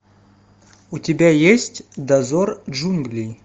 у тебя есть дозор джунглей